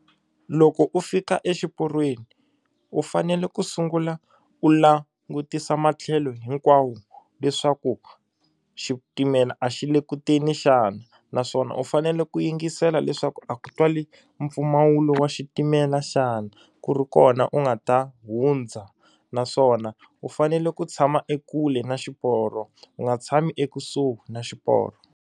Loko u fika exiporweni u fanele ku sungula u langutisa matlhelo hinkwawo leswaku xitimela a xi le ku teni xana naswona u fanele ku yingisela leswaku a ku twali mpfumawulo wa xitimela xana ku ri kona u nga ta hundza naswona u fanele ku tshama ekule na xiporo u nga tshami ekusuhi na xiporo.